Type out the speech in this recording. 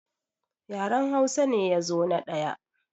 Yaran Hausa ne ya zo na ɗaya